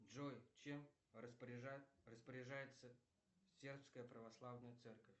джой чем распоряжается сербская православная церковь